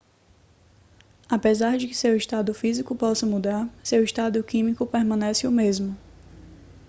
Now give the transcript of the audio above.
apesar de que seu estado físico possa mudar seu estado químico permanece o mesmo